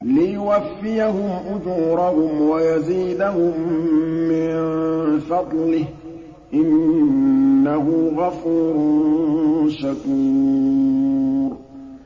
لِيُوَفِّيَهُمْ أُجُورَهُمْ وَيَزِيدَهُم مِّن فَضْلِهِ ۚ إِنَّهُ غَفُورٌ شَكُورٌ